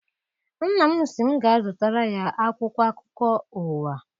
Nna m sị m ga zụtara ya akwụkwọ akụkọ ụwa.